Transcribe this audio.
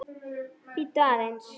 Bíddu aðeins